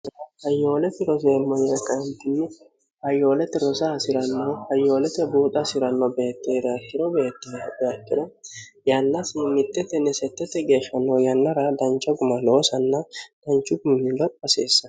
hayyoolete roseemmoyireqaantinni hayyoolete rosa hasi'rannoh hayoolete buuxa hasi'ranno beetteere akhiro beettere beektino yallaasi mittetinni settete geeshshanno yannara dancha guma loosanna danchu gummiilo hasiissan